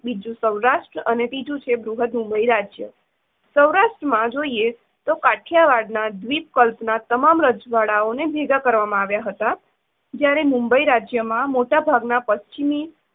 બીજું સૌરાષ્ટ્ર અને ત્રીજું છે બૃહદ મુંબઇ રાજ્ય. સૌરાષ્ટ્રમાં જોઈએ તો કાઠિયાવાડ દ્વીપકલ્પના તમામ રજવાડાંઓને ભેગા કરવામાં આવ્યા હતાં, જ્યારે મુંબઇ રાજમાં મોટાભાગના પશ્ચિમી